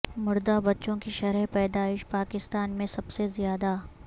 مردہ بچوں کی شرح پیدائش پاکستان میں سب سے زیادہ